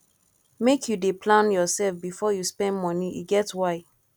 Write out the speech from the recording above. make you dey plan yoursef before you spend moni e get why